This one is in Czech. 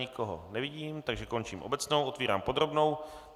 Nikoho nevidím, takže končím obecnou, otevírám podrobnou.